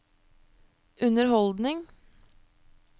underholdning